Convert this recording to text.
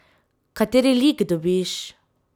Kateri lik dobiš?